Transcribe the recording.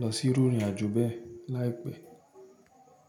lọ sí irú ìrìn àjò bẹ́ẹ̀ láìpẹ́.